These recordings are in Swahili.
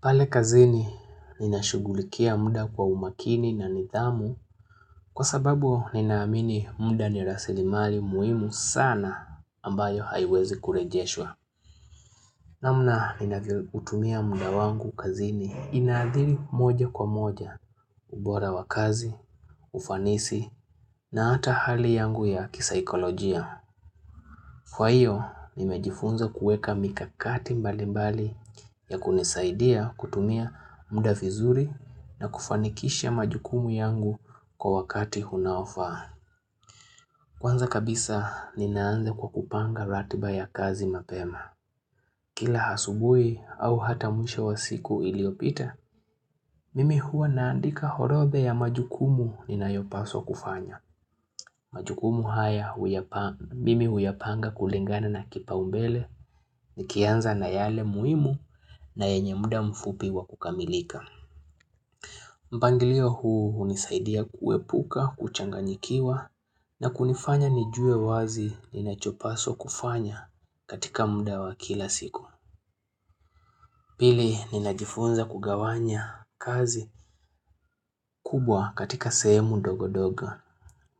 Pale kazini nina shugulikia muda kwa umakini na nidhamu kwa sababu ninaamini muda ni rasilimali muhimu sana ambayo haiwezi kurejeshwa. Namna ninavyo hutumia muda wangu kazini inaadhiri moja kwa moja, ubora wa kazi, ufanisi na ata hali yangu ya kisaikolojia. Kwa hiyo, nimejifunza kuweka mikakati mbali mbali ya kunisaidia kutumia muda vizuri na kufanikisha majukumu yangu kwa wakati unaofaa. Kwanza kabisa, ninaanza kwa kupanga ratiba ya kazi mapema. Kila asubuhi au hata mwisho wa siku iliopita, mimi huwa naandika horodha ya majukumu ninayopaswa kufanya. Majukumu haya mimi huyapanga kulingana na kipaumbele nikianza na yale muhimu na yenye muda mfupi wa kukamilika. Mpangilio huu hunisaidia kuepuka, kuchanganyikiwa na kunifanya nijue wazi ninachopaswa kufanya katika muda wa kila siku. Pili ninajifunza kugawanya kazi kubwa katika sehemu dogodogo.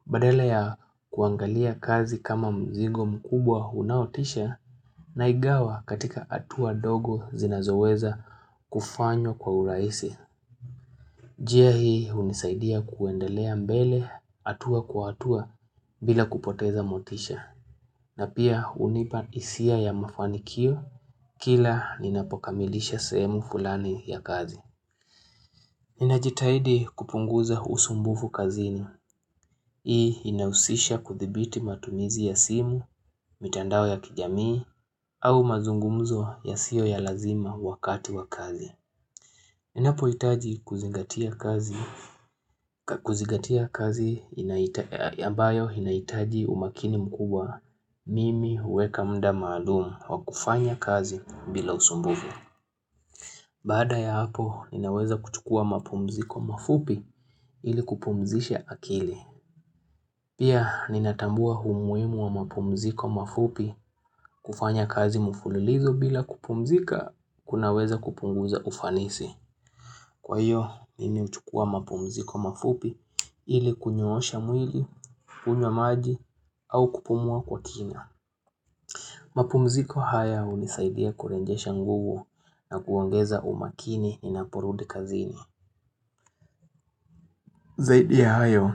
Badela ya kuangalia kazi kama mzigo mkubwa unaotisha naigawa katika hatua dogo zinazoweza kufanywa kwa urahisi. Njia hii hunisaidia kuendelea mbele hatua kwa hatua bila kupoteza motisha. Na pia hunipa hisia ya mafanikio kila ninapokamilisha sehemu fulani ya kazi. Ninajitahidi kupunguza usumbufu kazini. Hii inausisha kuthibiti matumizi ya simu, mitandao ya kijamii, au mazungumzo yasio ya lazima wakati wa kazi. Ninapo hitaji kuzigatia kazi ambayo inahitaji umakini mkubwa mimi huweka muda maalum wa kufanya kazi bila usumbufu. Baada ya hapo ninaweza kuchukua mapumziko mafupi ili kupumzisha akili Pia ninatambua umuhimu wa mapumziko mafupi kufanya kazi mfulilizo bila kupumzika kunaweza kupunguza ufanisi Kwa hiyo mimi huchukua mapumziko mafupi ili kunyoosha mwili, kunywa maji au kupumua kwa kina mapumziko haya hunisaidia kurejesha nguvu na kuongeza umakini ninaporudi kazini Zaidi ya hayo,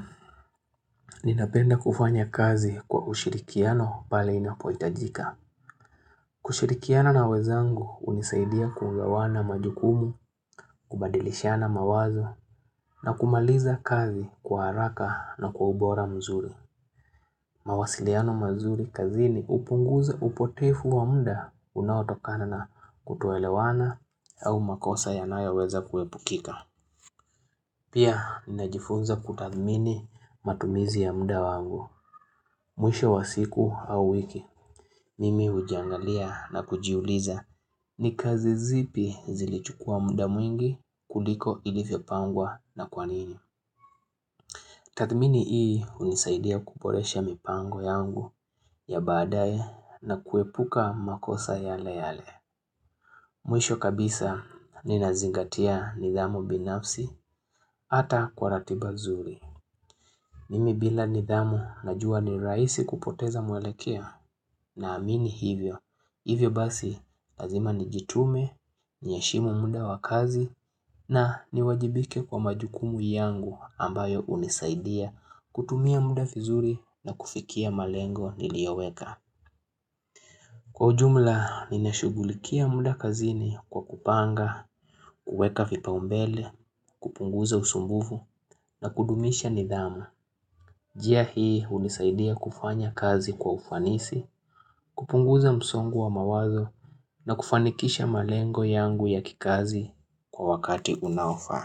ninapenda kufanya kazi kwa ushirikiano pale inapoitajika. Kushirikiana na wezangu hunisaidia kugawana majukumu, kubadilishana mawazo na kumaliza kazi kwa haraka na kwa ubora mzuri. Mawasiliano mazuri kazini hupunguza upotevu wa muda unaotokana na kutoelewana au makosa yanayoweza kuepukika. Pia, ninajifunza kutathmini matumizi ya muda wangu. Mwisho wa siku au wiki, mimi hujiangalia na kujiuliza. Ni kazi zipi zilichukua muda mwingi kuliko ilivyopangwa na kwanini. Tathmini hii hunisaidia kuboresha mipango yangu ya badae na kuepuka makosa yale yale. Mwisho kabisa ninazingatia nidhamu binafsi ata kwa ratiba zuri. Mimi bila nidhamu najua ni rahisi kupoteza mwelekeo naamini hivyo. Hivyo basi, lazima nijitume, niheshimu muda wa kazi na niwajibike kwa majukumu yangu ambayo hunisaidia kutumia muda vizuri na kufikia malengo niliyoweka. Kwa ujumla, ninashugulikia muda kazini kwa kupanga, kuweka vipaumbele, kupunguza usumbufu na kudumisha nidhamu. Njia hii hunisaidia kufanya kazi kwa ufanisi, kupunguza msongo wa mawazo na kufanikisha malengo yangu ya kikazi kwa wakati unaofaa.